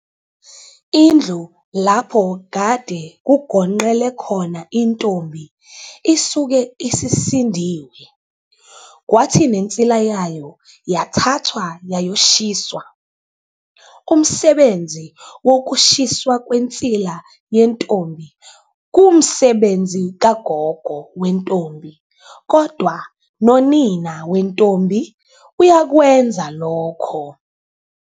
Indlu lapho kade kugonqele khona intombi isuke isisindiwe, kwathi nensila yayo yathathwa yayoshiswa. Umsebenzi wokushiswa kwensila yentombi kuwumsebenzi kagogo wentombi kodwa nonina wentombi uyakwenza lokho.